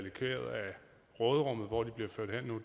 råderummet hvor de bliver ført hen nu